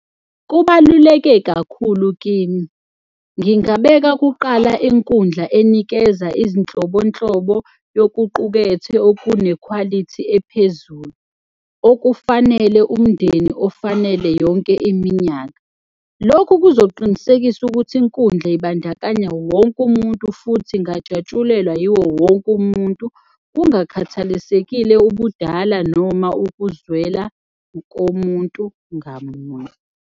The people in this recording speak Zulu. Kubaluleke kakhulu kimi, ngingabeka kuqala inkundla enikeza izinhlobonhlobo yokuqukethe okunekhwalithi ephezulu okufanele umndeni ofanele yonke iminyaka. Lokhu kuzoqinisekisa ukuthi inkundla ibandakanya wonke umuntu futhi ingajatshulelwa yiwo wonke umuntu, kungakhathalisekile ubudala noma ukuzwela komuntu ngamuntu.